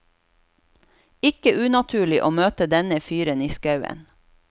Ikke unaturlig å møte denne fyren i skauen.